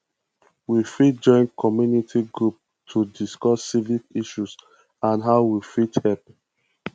we fit join community groups to discuss civic issues and how we fit help